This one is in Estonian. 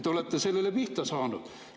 Te olete sellele pihta saanud.